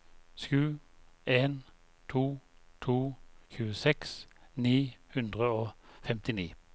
sju en to to tjueseks ni hundre og femtini